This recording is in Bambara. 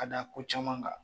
Ka da ko caman kan